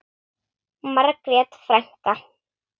Margrét frænka.